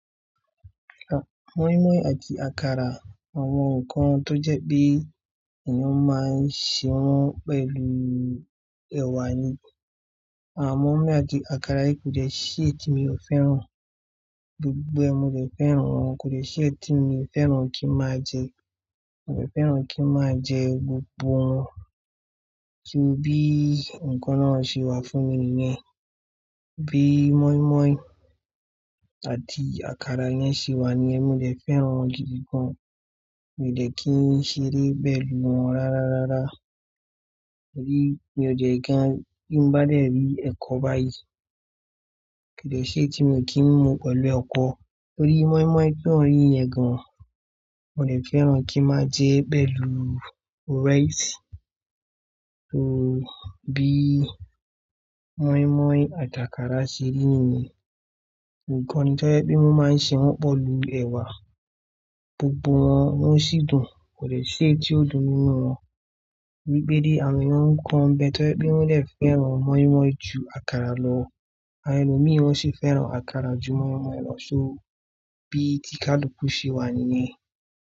Mọ́ímọ́í àti àkàrà, àwọn nǹkan tó jẹ́ pé èèyàn máa ń ṣe wọ́n pẹ̀lú ẹ̀wà ni. Àwọn mọ́ímọ́í àti àkàrà yìí kò dẹ́ si èyí tí mi ò fẹ́ràn, gbogbo ẹ mo dẹ fẹ́ràn wọn, kò dẹ́ si èyí tí mi ò fẹ́ràn kí n máa jẹ, mo dẹ fẹ́ràn kí n máa jẹ gbogbo wọn. Kí n bí nǹkan náà ṣe wà fún mi nìyẹn. Bí mọ́ímọ́í àti àkàrà yẹn ṣe wà ni yẹn, mo dẹ fẹ́ràn wọn gidi gan, mi ò dẹ kí n ṣeré pẹ̀lú wọn rárá rárá. Mo rí, mi ò dẹ kí n, bi n bá dẹ̀rí ẹ̀kọ báyìí. Kò jẹ́ ṣé tí mo kí ń mu pẹ̀lú ọkọ, torí mọ́ímọ́í kí wọ́n rí i ẹ̀gàn, mo lè fẹ́ràn kí n máa jẹ́ pẹ̀lú rice. Torí bí mọ́ímọ́í àti àkàrà ṣe rí nìyẹn, nǹkan ni tó jẹ́ pé wọ́n máa ń ṣe wọ́n pẹ̀lú ẹ̀wà, gbogbo wọn wọ́n sì dùn, kò jẹ́ ṣé tí ó dùn nínú wọn. Gbigbéde àwọn èèyàn nǹkan bẹ́ẹ̀ tó jẹ́ pé wọ́n lè fẹ́ràn mọ́ímọ́í ju àkàrà lọ, àwọn ẹni mìíràn sì fẹ́ràn àkàrà ju mọ́ímọ́í lọ. So bí tí kádùpú ṣe wà nìyẹn.